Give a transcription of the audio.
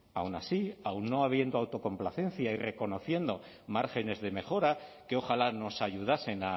aun así aun no habiendo autocomplacencia y reconociendo márgenes de mejora que ojalá nos ayudasen